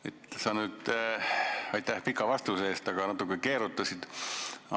Hea minister, aitäh pika vastuse eest, aga sa natuke keerutasid.